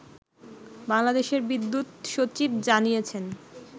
বাংলাদেশের বিদ্যুৎ সচিব জানিয়েছেন